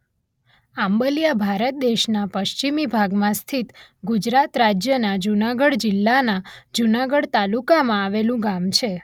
આંબલીયા ભારત દેશનાં પશ્ચિમી ભાગમાં સ્થીત ગુજરાત રાજ્યના જુનાગઢ જિલ્લાના જુનાગઢ તાલુકામાં આવેલું ગામ છે.